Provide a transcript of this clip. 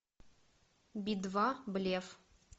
би два блеф